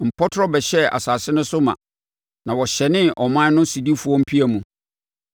Mpɔtorɔ bɛhyɛɛ asase no so ma, na wɔhyɛnee ɔman no sodifoɔ mpia mu.